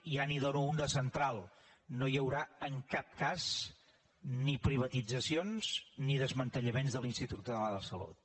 ja n’hi dono un de central no hi haurà en cap cas ni privatitzacions ni desmantellaments de l’institut català de la salut